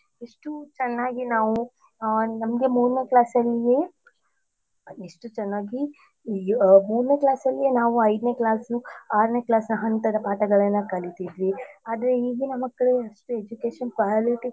ಎಷ್ಟು ಚನ್ನಾಗಿ ನಾವು ಅ ನಮ್ಗೆ ಮೂರನೇ class ಅಲ್ಲಿಯೇ ಎಷ್ಟು ಚನ್ನಾಗಿ ಮೂರನೇ class ಅಲ್ಲಿಯೇ ನಾವ್ ಐದ್ನೇclassಸು ಆರನೇ classನ ಹಂತದ ಪಾಠಗಳೆಲ್ಲ ಕಳಿತೀದ್ವಿ. ಅದೇ ಈಗಿನ ಮಕ್ಕಳು ಎಷ್ಟು education quality ಕೂಡ.